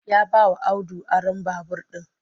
Ya bawa Audu aron babur ɗin